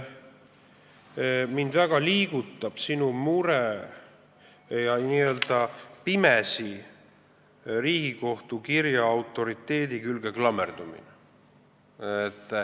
Mind väga liigutab sinu mure ja n-ö pimesi Riigikohtu kirja autoriteedi külge klammerdumine.